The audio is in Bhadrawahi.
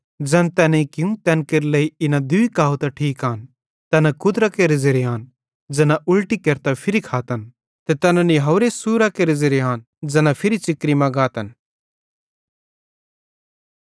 ज़ैन तैनेईं कियूं तैन केरे लेइ इना दूई कहावत ठीक आन तैना कुत्रां केरे ज़ेरे आन ज़ैना उलटी केरतां फिरी खातन ते तैना निहावरे सूरां केरे ज़ेरे आन ज़ैना फिरी च़िकरी मां गातन